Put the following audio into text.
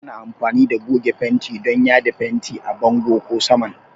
Ana amfani da goge fenti don yada fenti a bango ko saman